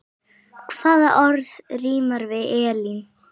Hvaða orð rímar við Elín?